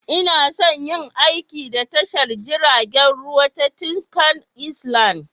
Ina son yin aiki a tashar jiragen ruwa ta Tinkan Island.